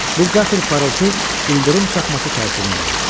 Bu qəfil parıltı ildırım çaxması təsirini bağışlayır.